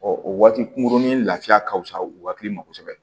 o waati kunkurunin lafiya ka fisa u hakili ma kosɛbɛ